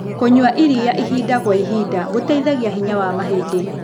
Kũnyua ĩrĩa ĩhĩda gwa ĩhĩda gũteĩthagĩa hinya wa mahĩdĩ